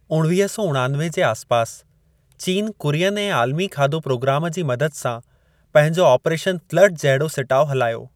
उणवीह सौ उणानवे जे आसपास, चीन कुरियन ऐं आलमी खाधो प्रोग्राम जी मदद सां पंहिंजो ऑपरेशन फ्लड जहिड़ो सिटाउ हलायो।